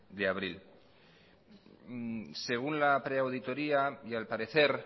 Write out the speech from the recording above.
de abril según la pre auditoria y al parecer